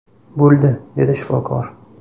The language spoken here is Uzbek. Bo‘ldi”, dedi shifokor.